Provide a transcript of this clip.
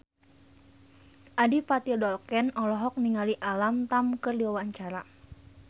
Adipati Dolken olohok ningali Alam Tam keur diwawancara